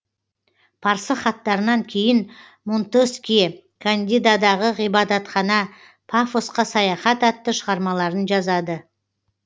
парсы хаттарынан кейін монтескье кандидадағы ғибадатхана пафосқа саяхат атты шығармаларын жазады